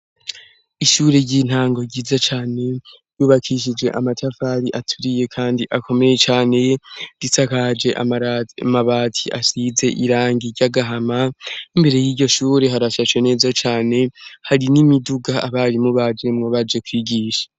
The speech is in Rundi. Ishure ry'intango ryiza cane, ryubakishije amatafari aturiye kandi akomeye cane, risakaje amabati asize irangi ry'agahama, imbere y'iryo shure harashashe neza cane, hari n'imiduga abarimu bajemwo baje kwigisha.